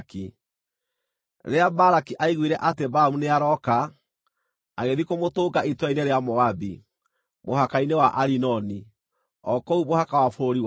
Rĩrĩa Balaki aiguire atĩ Balamu nĩarooka, agĩthiĩ kũmũtũnga itũũra-inĩ rĩa Moabi, mũhaka-inĩ wa Arinoni, o kũu mũhaka wa bũrũri wake.